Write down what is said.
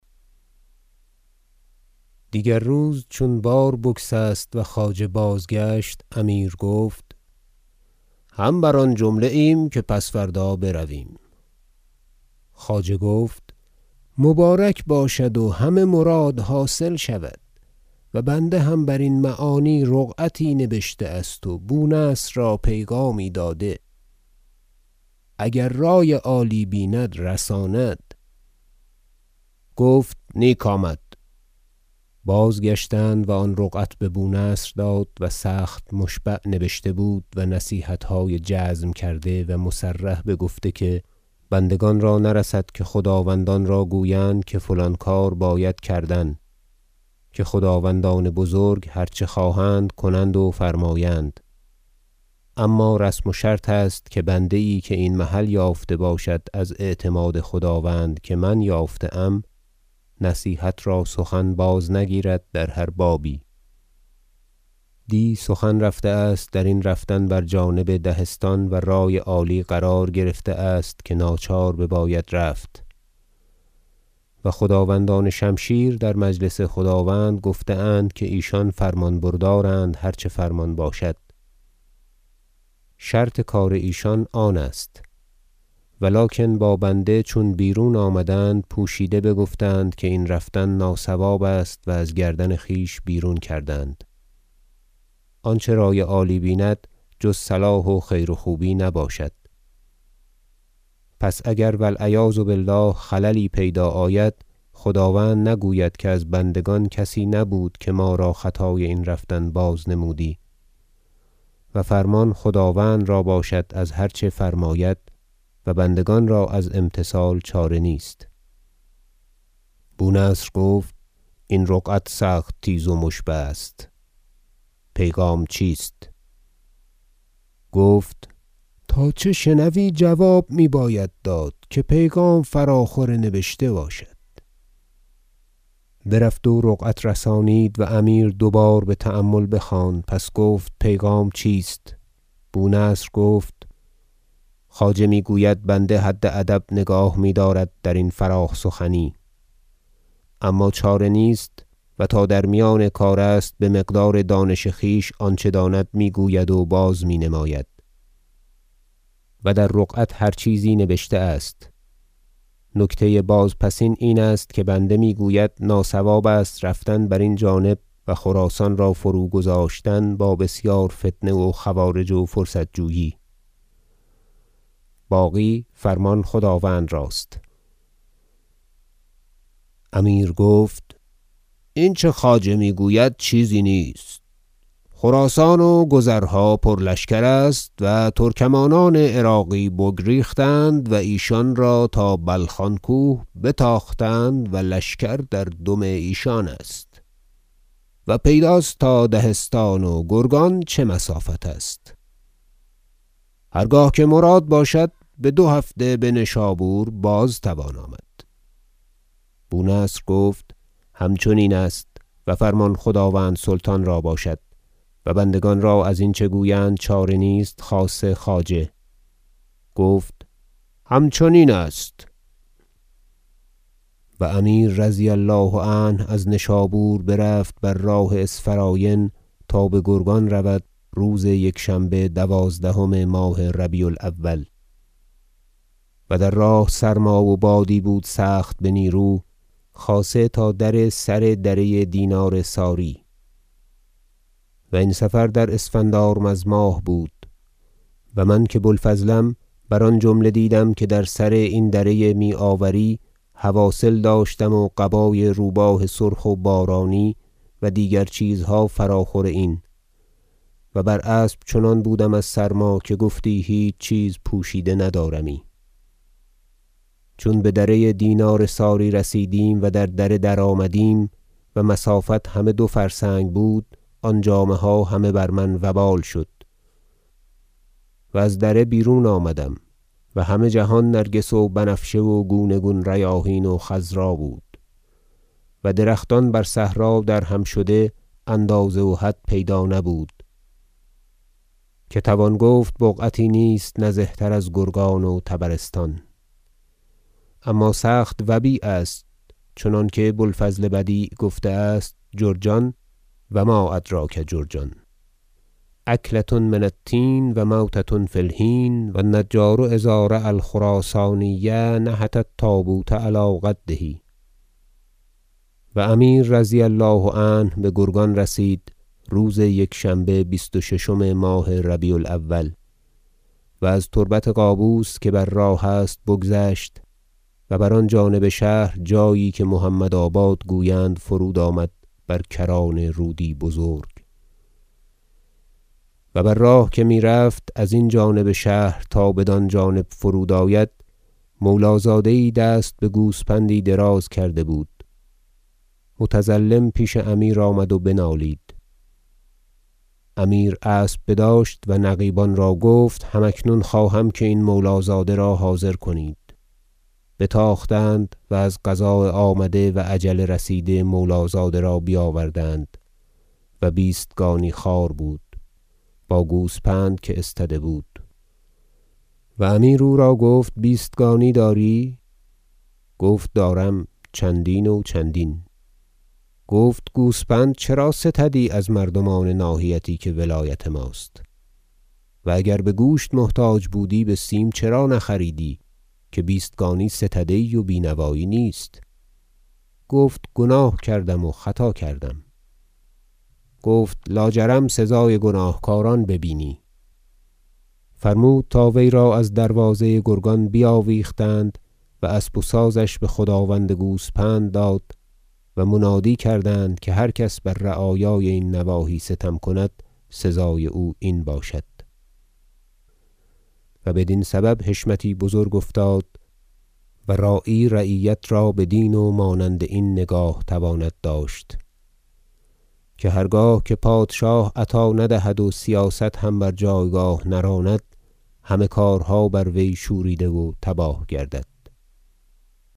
دیگر روز چون بار بگسست و خواجه بازگشت امیر گفت هم بر آن جمله ایم که پس فردا برویم خواجه گفت مبارک باشد و همه مراد حاصل شود و بنده هم برین معانی رقعتی نبشته است و بونصر را پیغامی داده اگر رای عالی بیند رساند گفت نیک آمد بازگشتند و آن رقعت ببونصر داد و سخت مشبع نبشته بود و نصیحتهای جزم کرده و مصرح بگفته که بندگان را نرسد که خداوندان را گویند که فلان کار باید کردن که خداوندان بزرگ هر چه خواهند کنند و فرمایند اما رسم و شرط است که بنده یی که این محل یافته باشد از اعتماد خداوند که من یافته ام نصیحت را سخن بازنگیرد در هر بابی دی سخن رفته است درین رفتن بر جانب دهستان و رای عالی قرار گرفته است که ناچار بباید رفت و خداوندان شمشیر در مجلس خداوند که گفتند ایشان فرمانبردارانند هر چه فرمان باشد شرط کار ایشان آن است و لکن با بنده چون بیرون آمدند پوشیده بگفتند که این رفتن ناصواب است و از گردن خویش بیرون کردند آنچه رای عالی بیند جز صلاح و خیر و خوبی نباشد پس اگر و العیاذ بالله خللی پیدا آید خداوند نگوید که از بندگان کسی نبود که ما را خطای این رفتن بازنمودی و فرمان خداوند را باشد از هر چه فرماید و بندگان را از امتثال چاره نیست بونصر گفت این رقعت سخت تیز و مشبع است پیغام چیست گفت تا چه شنوی جواب میباید داد که پیغام فراخور نبشته باشد برفت و رقعت برسانید و امیر دو بار بتأمل بخواند سپس گفت پیغام چیست بونصر گفت خواجه میگوید بنده حد ادب نگاه میدارد درین فراخ سخنی اما چاره نیست و تا در میان کار است بمقدار دانش خویش آنچه داند میگوید و بازمینماید و در رقعت هر چیزی نبشته است نکته بازپسین این است که بنده میگوید ناصواب است رفتن برین جانب و خراسان را فروگذاشتن با بسیار فتنه و خوارج و فرصت- جویی باقی فرمان خداوند راست امیر گفت اینچه خواجه میگوید چیزی نیست خراسان و گذرها پرلشکر است و ترکمانان عراقی بگریختند و ایشان را تا بلخان کوه بتاختند و لشکر در دم ایشان است و پیداست تا دهستان و گرگان چه مسافت است هر گاه که مراد باشد بدو هفته بنشابور بازتوان آمد بونصر گفت همچنین است و فرمان خداوند سلطان را باشد و بندگان را ازینچه گویند چاره نیست خاصه خواجه گفت همچنین است و امیر رضی الله عنه از نشابور برفت بر راه اسفراین تا بگرگان رود روز یکشنبه دوازدهم ماه ربیع الاول و در راه سرما و بادی بود سخت بنیرو خاصه تا سر دره دینار ساری و این سفر در اسفندارمذ ماه بود و من که بوالفضلم بر آن جمله دیدم که در سر این دره میاوری حواصل داشتم و قبای روباه سرخ و بارانی و دیگر چیزها فراخور این و بر اسب چنان بودم از سرما که گفتی هیچ چیز پوشیده ندارمی چون بدره دینار ساری رسیدیم و در دره درآمدیم و مسافت همه دو فرسنگ بود آن جامه ها همه بر من وبال شد و از دره بیرون آمدم و همه جهان نرگس و بنفشه و گونه- گونه ریاحین و خضرا بود و درختان بر صحرا درهم شده را اندازه و حد پیدا نبود که توان گفت بقعتی نیست نزه تر از گرگان و طبرستان اما سخت وبی ء است چنانکه بوالفضل بدیع گفته است جرجان و ما ادریک ما جرجان اکلة من التین و موتة فی الحین و النجار اذا رای الخراسانی نحت التابوت علی قده و امیر رضی الله عنه بگرگان رسید روز یکشنبه بیست و ششم ماه ربیع الاول و از تربت قابوس که بر راه است بگذشت و بر آن جانب شهر جایی که محمدآباد گویند فرود آمد بر کران رودی بزرگ و بر راه که میرفت ازین جانب شهر تا بدان جانب فرود آید مولازاده یی دست بگوسپندی دراز کرده بود متظلم پیش امیر آمد و بنالید امیر اسب بداشت و نقیبان را گفت هم اکنون خواهم که این مولازاده را حاضر کنید بتاختند و از قضاء آمده و اجل رسیده مولازاده را بیاوردند- و بیستگانی- خوار بود- با گوسپند که استده بود و امیر او را گفت بیستگانی داری گفت دارم چندین و چندین گفت گوسپند چرا ستدی از مردمان ناحیتی که ولایت ماست و اگر بگوشت محتاج بودی بسیم چرا نخریدی که بیستسگانی ستده ای و بینوایی نیست گفت گناه کردم و خطا کردم گفت لاجرم سزای گناهکاران ببینی فرمود تا وی را از دروازه گرگان بیاویختند و اسب و سازش بخداوند گوسپند داد و منادی کردند که هر کس که بر رعایای این نواحی ستم کند سزای او این باشد و بدین سبب حشمتی بزرگ افتاد و راعی رعیت را بدین و مانند این نگاه تواند داشت که هرگاه که پادشاه عطا ندهد و سیاست هم بر جایگاه نراند همه کارها بر وی شوریده و تباه گردد